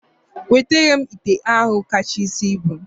Wetere m ite ahụ kachasị ibu!